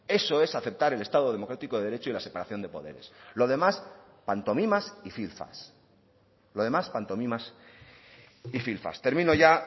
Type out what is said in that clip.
eso es aceptar el estado democrático de derecho y la separación de poderes lo demás pantomimas y filfas lo demás pantomimas y filfas termino ya